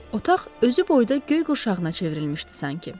Otaq özü boyda göy qurşağına çevrilmişdi sanki.